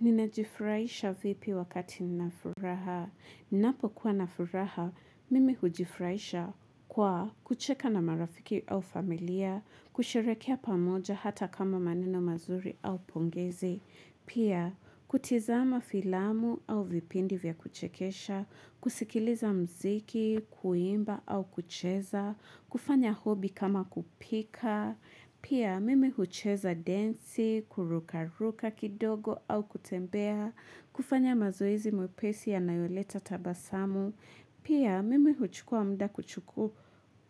Ninajifurahisha vipi wakati nina furaha. Napo kuwa na furaha, mimi hujifurahisha kwa kucheka na marafiki au familia, kusherehekea pamoja hata kama maneno mazuri au pongezi, pia kutizama filamu au vipindi vya kuchekesha, kusikiliza muziki, kuimba au kucheza, kufanya hobi kama kupika, Pia mimi hucheza densi, kurukaruka kidogo au kutembea, kufanya mazoezi mepesi yanayoleta tabasamu. Pia mimi huchukua muda